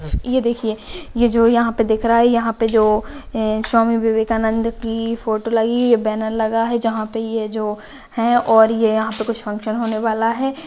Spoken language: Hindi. ये देखिये ये जो यहाँ पे दिख रहा है यहाँ पे जो स्वामीविवेका नंद की फोटो लगी बैनर लगा है जहा पे ये जो है और ये यहाँ पे कुछ फंक्शन होने वाला है।